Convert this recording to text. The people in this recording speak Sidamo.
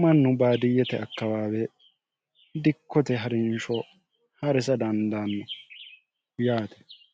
mannu baadiyyete akkabaawe dikkote ha'rinsho ha'risa dandaanno yaate